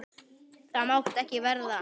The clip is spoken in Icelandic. Það mátti ekki verða.